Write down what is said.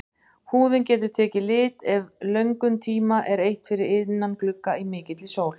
Húðin getur tekið lit ef löngum tíma er eytt fyrir innan glugga í mikilli sól.